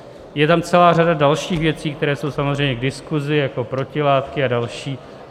Je tam celá řada dalších věcí, které jsou samozřejmě k diskusi, jako protilátky a další.